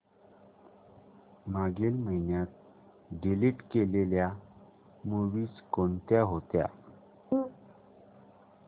मागील महिन्यात डिलीट केलेल्या मूवीझ कोणत्या होत्या